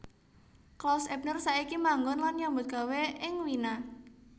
Klaus Ebner saiki manggon lan nyambut gawé ing Wina